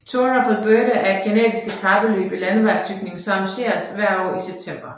Tour of Alberta er et canadisk etapeløb i landevejscykling som arrangeres hvert år i september